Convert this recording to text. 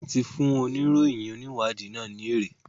Wón tí fún oníròyìn oniwadii nà ní ère